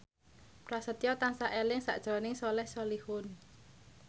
Prasetyo tansah eling sakjroning Soleh Solihun